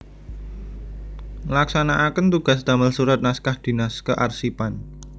Ngelaksanaaken tugas damel surat naskah dinas kearsipan